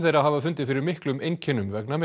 hafa fundið fyrir miklum einkennum vegna